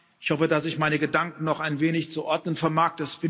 Ich hoffe, dass ich meine Gedanken noch ein wenig zu ordnen vermag.